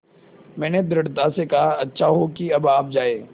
मैंने दृढ़ता से कहा अच्छा हो कि अब आप जाएँ